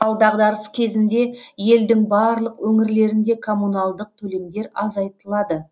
ал дағдарыс кезінде елдің барлық өңірлерінде коммуналдық төлемдер азайтылады